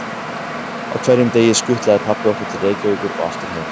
Á hverjum degi skutlaði pabbi okkur til Reykjavíkur og aftur heim.